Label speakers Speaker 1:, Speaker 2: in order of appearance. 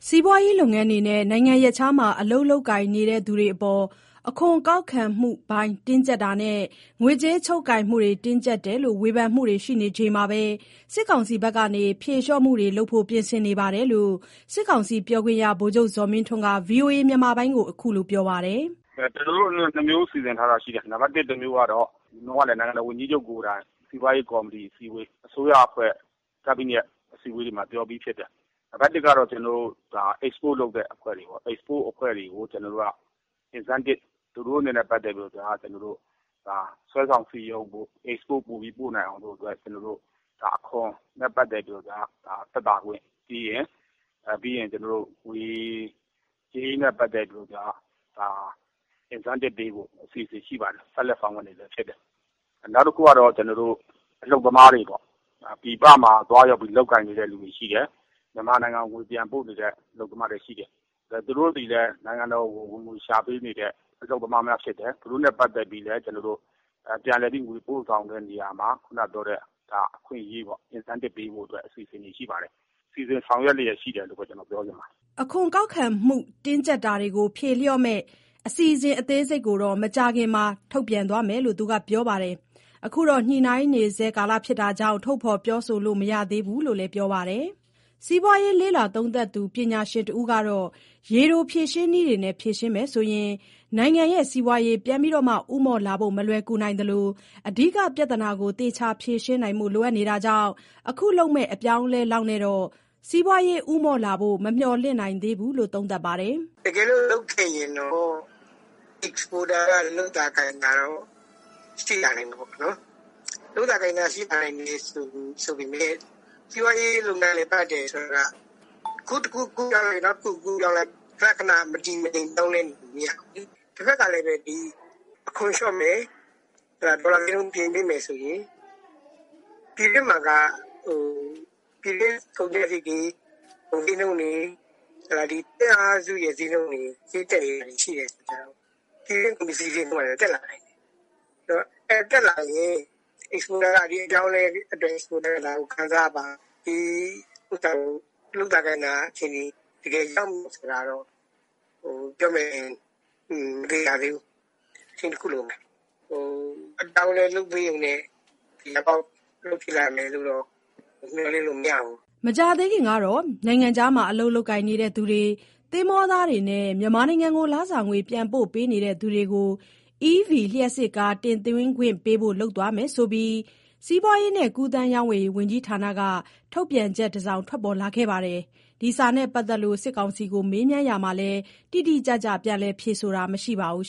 Speaker 1: စီးပွားရေးလုပ်ငန်း တွေနဲ့ နိုင်ငံရပ်ခြားမှာ အလုပ်လုပ်ကိုင် နေသူတွေအပေါ် အခွန်ကောက်ခံမှု တွေ တင်းကျပ်တာနဲ့ ငွေကြေးချုပ်ကိုင်မှုတွေ တင်းကျပ်တယ်လို့ ဝေဖန်တွေမှုရှိနေချိန်မှာဘဲ စစ်ကောင်စီဘက်က ဖြေလျှော့မှုတွေလုပ်ဖို့ ပြင်ဆင်နေတယ်လို့ စစ်ကောင်စီပြောခွင့်ရ ဗိုလ်ချုပ်ဇော်မင်းထွန်းက ဗွီအိုအေကို ခုလိုပြောဆ
Speaker 2: ိုလိုက်တာ ဖြစ်ပါတယ်။ "ကျနော်တို့ ၂ မျိုးစီစဉ်ထားတာရှိတယ်။ နိုင်ငံတော်ဝန်ကြီးချုပ်ကိုယ်တိုင် စီးပွားရေးကော်မတီ အစည်းအဝေး အစိုးရအဖွဲ့ ကက်ဘိနက်မှာ ပြောပြီးဖြစ်တယ်။ နံပါတ် ၁ ကတော့ export အဖွဲ့တွေကို incentive သူတို့တွေကို စွဲဆောင်စည်းရုံးနိုင်ဖို့ export ပိုပြီးပို့နိုင်အောင်လို့ အခွန်နဲ့ ပတ်သတ်ပြီး သက်သာခွင့်၊ ပြီးရင်ငွေကြေးနဲ့ ပတ်သက်လို့က incentive ပေးဖို့ အစီအစဉ်ရှိပါတယ်။ ဆက်လက် ဆောင်ရွက်နေဆဲဖြစ်တယ်။ နောက်တခုကတော့ အလုပ်သမားတွေပေါ့။ ပြည်ပမှာ သွားရောက် လုပ်ကိုင် နေသူတွေ ရှိတယ်။ မြန်မာနိုင်ငံကို ငွေပြန်ပို့နေတဲ့ သူတွေရှိတယ်။ သူတို့သည်လည်း နိုင်ငံတော်ကို ငွေရှာပေးနေတဲ့သူတွေ ဖြစ်တယ်။ အလုပ်သမားများ ဖြစ်တယ်။ သူတို့နဲ့ပတ်သက်လို့ ပြန်လည်ငွေပို့ဆောင်တဲ့ နေရာမှာ အခွင့်အရေး incentive ပေးဖို့ အစီအစဉ်တွေ ရှိပါတယ်။ အသေးစိတ်ကတော့ စီစဉ်ဆောင်ရွက်နေဆဲရှိတယ်လို့ပဲ ပြောချင်ပါတယ်
Speaker 1: ။" ဖြေလျော့မယ့် အစီအစဉ်အသေးစိတ်ကို မကြာခင်မှာ ထုတ်ပြန်သွားမယ်လို့ ပြောပါတယ်။ အခုတော့ ညှိုနှိုင်းနေဆဲဖြစ်နေတဲ့ အတွက် ထုတ်ဖော်ပြောဆိုလို့ မရသေးဘူးလို့လည်း ပြောပါတယ်။ စီးပွားရေး လေ့လာသုံးသပ်သူ ပညာရှင်တဦးကတော့ ရေတိုဖြေရှင်းနည်းတွေနဲ့ ဖြေရှင်းမယ်ဆိုရင် နိုင်ငံ့စီးပွားရေး ပြန်လည်ဦးမော့လာဖို့ မလွယ်နိုင်သလို အဓိကပြဿနာကို သေချာဖြေရှင်းနိုင်ဖို့ လိုနေတာကြောင့် အခုလုပ်မယ့် အပြောင်းအလဲလောက်နဲ့တော့ စီးပွားရေး ဦးမော့လာဖို့ မမျှော်လင့် နိုင်သေးဘူးလို့ သုံးသပ်ပါတယ်။
Speaker 3: "တကယ်လို့လုပ်ခဲ့ရင်တော့ exporter တွေ လုပ်သာကိုင်သာရှိသွားမှာပေါ့။ လုပ်သာကိုင်သာ ရှိလာနိုင်တယ်ဆိုပေမယ့် အခု တခုကူးလိုက် နောက်တခု ကူးပြောင်းလိုက်။ ခဏခဏ မတည်မငြိမ် ပြောင်းလဲနေလို့ မရဘူးလေ။ တဖက်မှာ ကလည်း အခွန်လျော့မယ်၊ ဒေါ်လာဈေးနှုန်း ပြင်ပေးမယ်ဆိုရင် ပြည်တွင်းမှာ ပြည်တွင်းကုန်ကျစရိတ်တွေ ကုန်ဈေးနှုန်းတွေ သွင်းအားစု ဈေးနှုန်းတွေ တက်နေတာရှိတော့ ဒါတွေတက်လာနိုင်တယ်။ တက်လာရင် exporter က ဒီအပြောင်းအလဲကို ခံစားရပါ့မလား။ လုပ်သာကိုင်သာ ရှိပါ့မလား ပြောမယ်ဆိုရင်တော့ မသေချာ သေးဘူး။ အချိန်တခု လိုမယ်။ အပြောင်းအလဲဖြစ်လာရုံနဲ့ သေချာပေါက် အလုပ်ဖြစ်လာမယ်လို့ မျှော်လင့်လို့ မရဘူး
Speaker 1: " မကြာသေးခင်ကတော့ နိုင်ငံခြားမှာ အလုပ်လုပ်ကိုင်သူတွေ၊ သင်္ဘောသားတွေနဲ့ မြန်မာနိုင်ငံကို လစာငွေ ပြန်ပို့ပေး နေတဲ့သူတွေကို EV လျှပ်စစ်ကားတွေ တင်သွင်းခွင့်ပေးဖို့ လုပ်သွားမယ်ဆိုပြီး စီးပွားရေးနဲ့ကူးသန်းရောင်းဝယ်ရေး ဝန်ကြီးဌာန က ထုတ်ပြန်ချက် တစောင်ထွက်ပေါ်လာခဲ့ပါတယ်။ ဒီစာနဲ့ပတ်သက်လို့ စစ်ကောင်စီကို မေးမြန်းရာမှာတော့ တိတိကျကျ ပြန်လည် ဖြေဆိုတာ မရှိပါဘူး